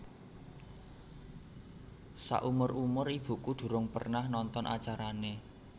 Sakumur umur ibuku durung pernah nonton acarane